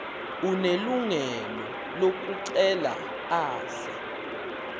unelungelo lokucela aze